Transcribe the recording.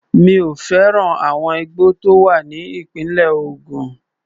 Mi ò fẹ́ràn àwọn igbó tó wà ní ìpínlẹ̀ Ògùn.